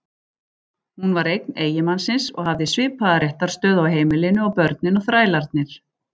Hún var eign eiginmannsins og hafði svipaða réttarstöðu á heimilinu og börnin og þrælarnir.